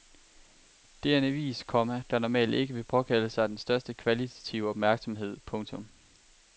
Det er en avis, komma der normalt ikke vil påkalde sig den største kvalitative opmærksomhed. punktum